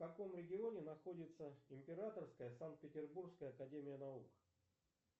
в каком регионе находится императорская санкт петербургская академия наук